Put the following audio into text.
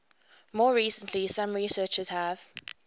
more recently some researchers have